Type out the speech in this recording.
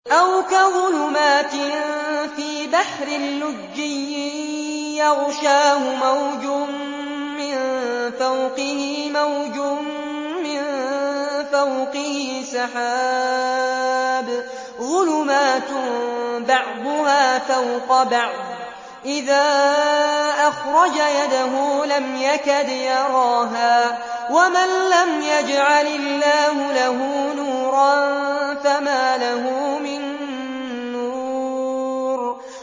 أَوْ كَظُلُمَاتٍ فِي بَحْرٍ لُّجِّيٍّ يَغْشَاهُ مَوْجٌ مِّن فَوْقِهِ مَوْجٌ مِّن فَوْقِهِ سَحَابٌ ۚ ظُلُمَاتٌ بَعْضُهَا فَوْقَ بَعْضٍ إِذَا أَخْرَجَ يَدَهُ لَمْ يَكَدْ يَرَاهَا ۗ وَمَن لَّمْ يَجْعَلِ اللَّهُ لَهُ نُورًا فَمَا لَهُ مِن نُّورٍ